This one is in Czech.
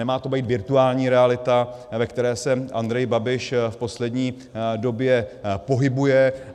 Nemá to být virtuální realita, ve které se Andrej Babiš v poslední době pohybuje.